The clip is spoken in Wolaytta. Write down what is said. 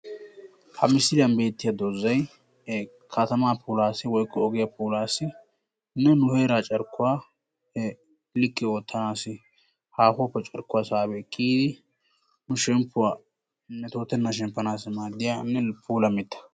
Ha misiliyaan beettiya doozay katamaa puulassi woykko ogiyaa puulassinne nu heeraa carkkuwa likke oottanassi haahuwappe carkkuwa saabi ekki yiidi nu shemppuwa metoottenaan shemppanassi maaddiyanne puula mitta.